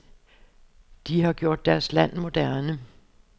De har gjort deres land moderne.